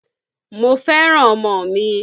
Mo fẹ́ràn ọmọ mi